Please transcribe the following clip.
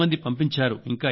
చాలా మంది పంపించారు